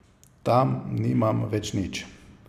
Tam nimam več nič.